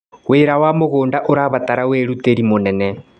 Wĩra wa mũgũnda ũrabatara wĩrutĩri mũnene.